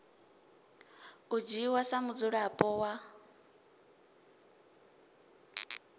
u dzhiwa sa mudzulapo wa